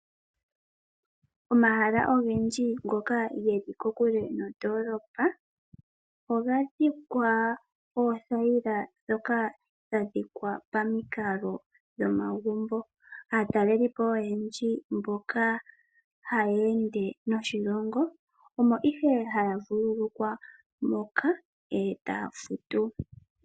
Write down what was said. Omahala ogendji ngoka geli kokule nondolopa oga dhikwa oothayila ndhoka dha dhikwa pamukalo gwomagumbo. Aatalelipo oyendji mboka haye ende noshilongo omo ihe haya vululukwa moka etaya futu.